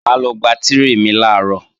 Mà á lọ gba tírè mi làárọ̀